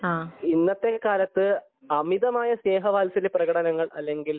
ഇന്നത്തെ ഈ കാലത്തു അമിതമായ സ്നേഹ വാത്സല്യ പ്രകടനങ്ങൾ അല്ലെങ്കിൽ